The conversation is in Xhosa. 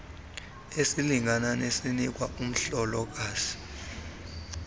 esilingana nesinikwa umhlokazi